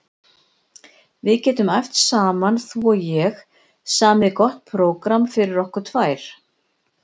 Við getum æft saman þú og ég, samið gott prógramm fyrir okkur tvær.